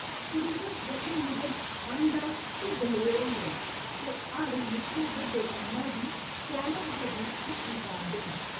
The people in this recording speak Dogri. शरीरक गठन मूजब अनडर ते दलेर होंदे न ते हर निक्के बड्डे कम्मै गी चैलेंज दे रूप च स्वीकारदे न।